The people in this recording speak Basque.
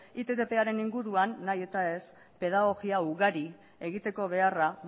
ittparen inguruan nahi eta ez pedagogia ugari egiteko beharra